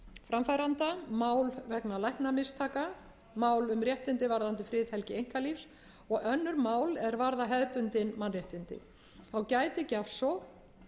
framfæranda mál vegna læknamistaka mál um réttindi varðandi friðhelgi einkalífs og önnur mál er varða hefðbundin mannréttindi þá gæti gjafsókn